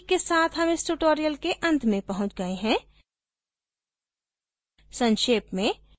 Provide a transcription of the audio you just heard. इसी के साथ हम इस tutorial के अंत में पहुँच गए है संक्षेप में